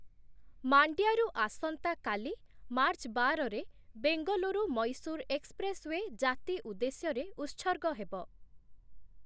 ମାଣ୍ଡ୍ୟାରୁ ଆସନ୍ତାକାଲି, ମାର୍ଚ୍ଚ ବାର ରେ ବେଙ୍ଗଲୁରୁ ମୈସୁର ଏକ୍ସପ୍ରେସୱେ ଜାତି ଉଦ୍ଦେଶ୍ୟରେ ଉତ୍ସର୍ଗ ହେବ ।